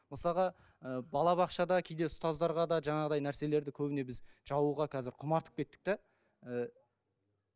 мысалға ыыы балабақшада кейде ұстаздарға да жаңағыдай нәрселерді көбіне біз жабуға қазір құмартып кеттік те ііі